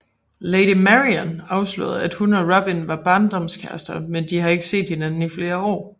Lady Marian afslører at hun og Robin var barndomskærester men de har ikke set hinanden i flere år